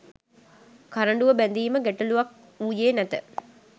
කරඬුව බැඳීම ගැටලූවක් වූයේ නැත